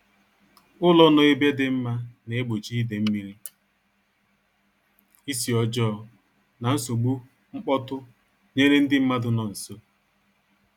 Ụlọ nọ ebe dị mma na-egbochi ide mmiri, isi ọjọọ, na nsogbu mkpọtụ nyere ndị mmadụ nọ nso